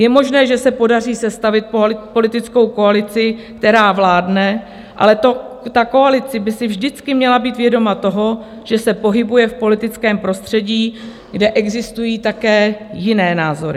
Je možné, že se podaří sestavit politickou koalici, která vládne, ale ta koalice by si vždycky měla být vědoma toho, že se pohybuje v politickém prostředí, kde existují také jiné názory.